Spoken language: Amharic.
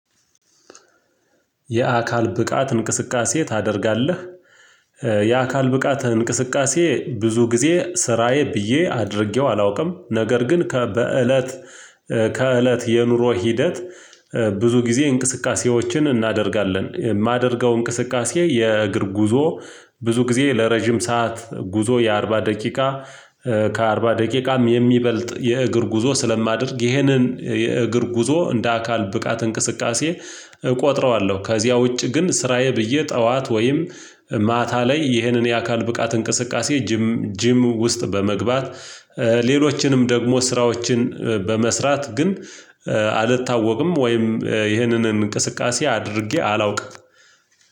የአካል ብቃት እንቅስቃሴ ታደርጋለህ? የአካል ብቃት እንቅስቃሴ ብዙ ጊዜ ስራዬ ብዬ አድርጌው አላውቅም። ነገር ግን ከበእለት ከእለት የኑሮ ሂደት። ብዙ ጊዜ እንቅስቃሴዎችን እናደርጋለን የማደርገው እንቅስቃሴ የእግር ጉዞ ብዙ ጊዜ ለረጅም ሰዓት ጉዞ የአርባ ደቂቃ ከአርባ ደቂቃም የሚበልጥ የእግር ጉዞ ስለማደርግ ይሄንን የእግር ጉዞ እንደ አካል ብቃት እንቅስቃሴ እቆጥረዋለሁ። ከዚያ ውጪ ግን ስራዬ ብዬ ጠዋት ወይም ማታ ላይ ይህንን የአካል ብቃት እንቅስቃሴ ጂም ጂም ውስጥ በመግባት ሌሎችንም ደግሞ ስራዎችን በመስራት ግን አልታወቅም ወይም ይህንን እንቅስቃሴ አድርጌ አላውቅም።